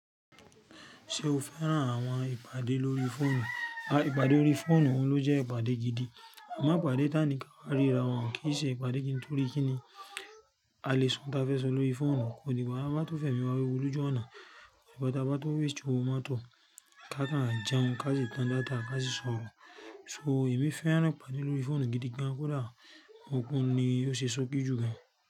Ṣé o fẹ́ràn àwọn ìpàdé lórí fóònù? Ìpàdé órí fóònù òun ló jẹ́ ìpàdé gidi, àmọ́ ìpàdé tánì ká má ríra wọn kìí ṣe ìpàdé gidi torí kí ni àlè sọ òun ta fẹ́ sọ lórí fóònù kò dí gba tá bá tó fẹ̀mi wá wewu lójú ọ̀nà. Or ta bá tó waste ọwọ motọ̀ ká má jẹun, ká sì tan data ká sì sọ̀rọ̀. So èmi fẹ́ràn ìpàdé lórí fóònù gidi gan kó dà, òun ni ó ṣe ṣókí jù lọ.